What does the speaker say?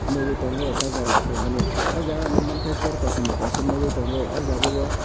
nogoi tango charger rok palmani o jaga nogmang ka chair bo kosom bo kaisa nogoi tango o jaga o.